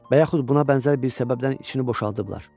və yaxud buna bənzər bir səbəbdən içini boşaldıblar.